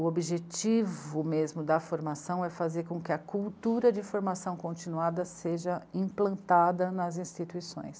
O objetivo mesmo da formação é fazer com que a cultura de formação continuada seja implantada nas instituições.